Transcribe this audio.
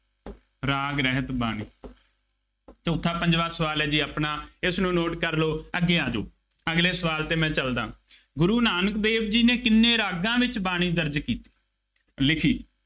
ਰਾਗ ਰਹਿਤ ਬਾਣੀ ਚੌਥਾ, ਪੰਜਵਾਂ ਸਵਾਲ ਹੈ ਜੀ ਆਪਣਾ, ਇਸਨੂੰ note ਕਰ ਲਉ, ਅੱਗੇ ਆ ਜਾਉ, ਅਗਲੇ ਸਵਾਲ ਤੇ ਮੈਂ ਚੱਲਦਾ, ਗੁਰੂ ਨਾਨਕ ਦੇਵ ਜੀ ਨੇ ਕਿੰਨੇ ਰਾਗਾਂ ਵਿੱਚ ਬਾਣੀ ਦਰਜ ਕੀਤੀ, ਲਿਖੀ।